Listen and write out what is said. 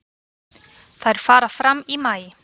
Þær fara fram í maí.